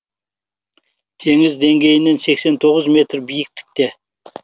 теңіз деңгейінен сексен тоғыз метр биіктікте